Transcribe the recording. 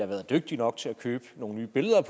været dygtige nok til at købe nogle nye billeder at